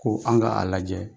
Ko an ka a lajɛ.